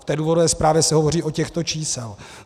V té důvodové zprávě se hovoří o těchto číslech.